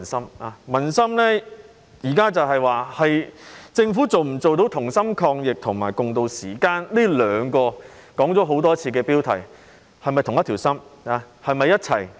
現在民心所想的是，政府能否做到"同心抗疫"及"共渡時艱"，這兩個標題已說了很多次。